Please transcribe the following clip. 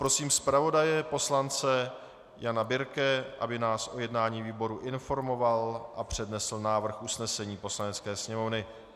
Prosím zpravodaje poslance Jana Birke, aby nás o jednání výboru informoval a přednesl návrh usnesení Poslanecké sněmovny.